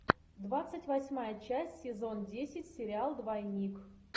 двадцать восьмая часть сезон десять сериал двойник